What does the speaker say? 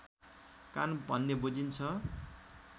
कान भन्ने बुझिन्छ